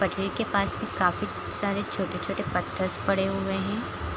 पटरी के पास में काफी सारे छोटे-छोटे पत्थर पड़े हुए हैं।